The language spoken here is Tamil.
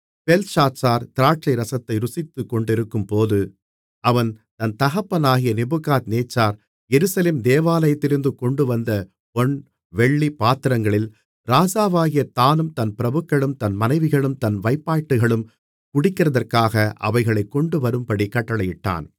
பெல்ஷாத்சார் திராட்சைரசத்தை ருசித்துக் கொண்டிருக்கும்போது அவன் தன் தகப்பனாகிய நேபுகாத்நேச்சார் எருசலேம் தேவாலயத்திலிருந்து கொண்டுவந்த பொன் வெள்ளி பாத்திரங்களில் ராஜாவாகிய தானும் தன் பிரபுக்களும் தன் மனைவிகளும் தன் வைப்பாட்டிகளும் குடிக்கிறதற்காக அவைகளைக் கொண்டுவரும்படி கட்டளையிட்டான்